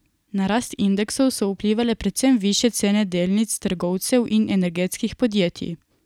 Na rast indeksov so vplivale predvsem višje cene delnic trgovcev in energetskih podjetij.